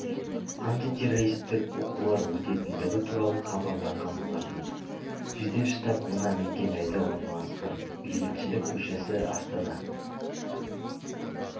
антитеррористік оқулар өтетіндігі туралы хабарлаған болатын жедел штаб мына мекен жайда орналасқан бейбітшілік көшесі астана